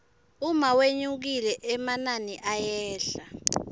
uma wenyukile emanini ayehla